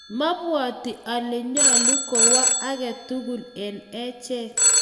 mabwoti ale nyolu kowo age tugul eng' achek